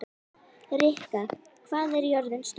Rikka, hvað er jörðin stór?